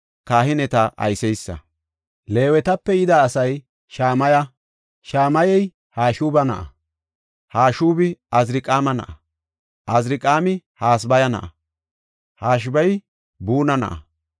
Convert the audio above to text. Leewetape yida asay Shamaya; Shamayey Hashuba na7a; Hashubi Aziriqaama na7a; Aziriqaami Hasabaya na7a; Hashabey Buna na7a.